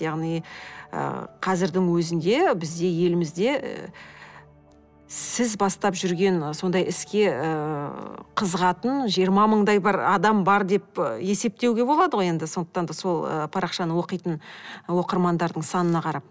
яғни ы қазірдің өзінде бізде елімізде сіз бастап жүрген сондай іске ыыы қызығатын жиырма мыңдай бір адам бар деп есептеуге болады ғой енді сондықтан да сол ы парақшаны оқитын оқырмандардың санына қарап